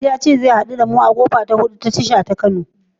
Walid ya ce zai haɗu da mu a kofa ta hudu ta tashar mota ta Kano line.